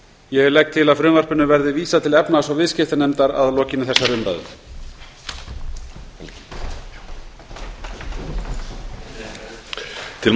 ég legg til að frumvarpinu verði vísað til efnahags og viðskiptanefndar að lokinni þessari umræðu